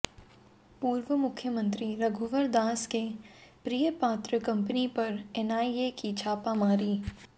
पूर्व मुख्यमंत्री रघुवर दास के प्रियपात्र कंपनी पर एनआईए की छापामारी